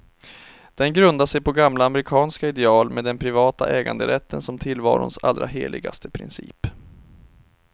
Den grundar sig på gamla amerikanska ideal, med den privata äganderätten som tillvarons allra heligaste princip.